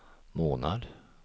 månad